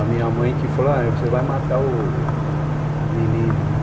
A minha mãe que falou, você vai matar o o menino, né?